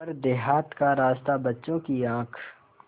पर देहात का रास्ता बच्चों की आँख